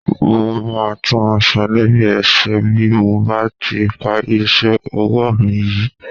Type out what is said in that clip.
Mo máa tún aṣọ Navy ẹ ṣe bí mo bá ti parí iṣẹ́ ọwọ́ mi yìí.